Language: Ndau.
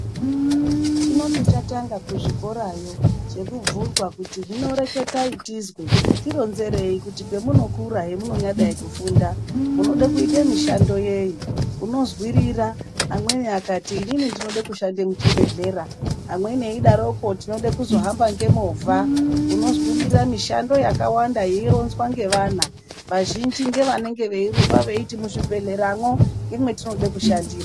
Chinoti chatanga kuzvikorayo chekubvunzwa kuti hino reketai tizwe tironzerei kuti pemunokura hemunonyadai kufunda munode kuite mishando yeyi, unozwirira amweni akati inini ndinode kushande muchibhedhlera, amweni eidaroko ndinoda kuzohamba ngemovha unozwirira mishando yakawanda yeironzwa ngevana vazhinji ngevanenge veirumba veiti muzvibhedhleramwo ngemwendinoda kushandira.